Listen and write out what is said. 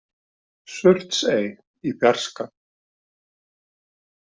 Surtsey i fjarska.